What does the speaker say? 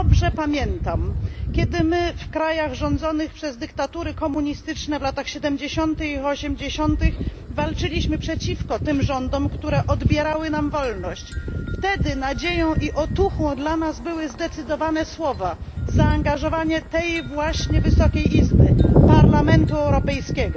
Dobrze pamiętam, że kiedy my, w krajach rządzonych przez dyktatury komunistyczne w latach siedemdziesiątych i osiemdziesiątych, walczyliśmy przeciwko tym rządom, które odbierały nam wolność, wtedy nadzieją i otuchą dla nas były zdecydowane słowa, zaangażowanie tej właśnie Wysokiej Izby Parlamentu Europejskiego.